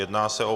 Jedná se o